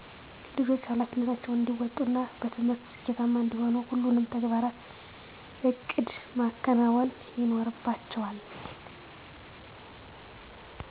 ልጆች ሀላፊነታቸውን እንዲወጡ እና በትምህርት ስኬታማ እንዲሆኑ ሁሉንም ተግባራት በእቅድ ማከናወን ይኖርባቸዋል